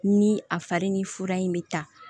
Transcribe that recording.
Ni a fari ni fura in bɛ ta